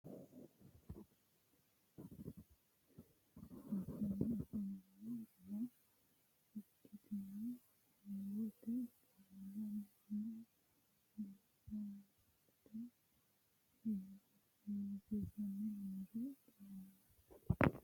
kuri sase seeni aamamooshshensa horonsire dagate bohaarsha ikkanore assanni afamanno insano ikkitiyo heewote barera manna bohaarsate heewo hewisamanni noore lawanno.